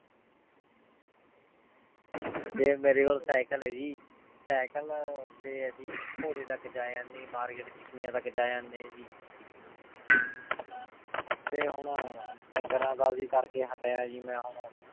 ਫੇਰ ਮੇਰੇ ਕੋਲ cycle ਆਯ ਜੀ cycle ਤੇ ਅਸੀਂ ਘੋਰੇ ਤਕ ਜਾ ਆਨੇ ਜੀ market ਚਿਕ੍ਯਾਂ ਤਕ ਜਾ ਆਨੇ ਜੀ ਫੇਰ ਹੁਣ ਡੰਗਰਾਂ ਦਾ ਵੀ ਕਰ ਕੇ ਹਤ੍ਯਾ ਜੀ ਮੈਂ ਹੁਣ